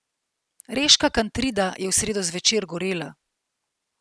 Reška Kantrida je v sredo zvečer gorela.